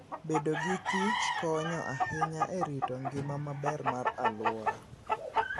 Bedo gi kich konyo ahinya e rito ngima maber mar alwora.